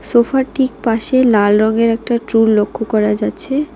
সোফার ঠিক পাশে লাল রঙের একটা ট্রুল লক্ষ করা যাচ্ছে।